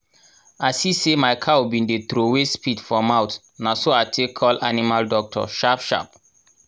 i see say my cow been dey trowey spit for mouth na so i take call animal doctor sharp sharp